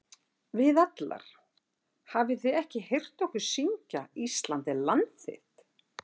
Við allar- hafið þið ekki heyrt okkur syngja Ísland er land þitt??